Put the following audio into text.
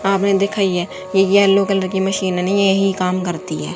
हां हमें दिखाइए ये येलो कलर की मशीन नहीं यही काम करती है।